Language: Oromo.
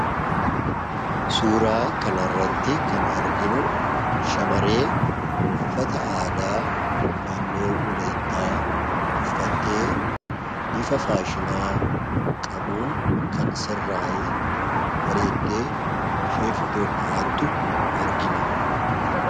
suuraa kana irratti kan arginu shamarree uffata aadaa naannoo walaayittaa uffattee bifa faashina qabuun kan sirritti bareeddee suuraa ka'aa jirtu nutti agarsiisaa